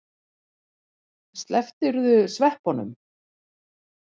Slepptirðu sveppunum?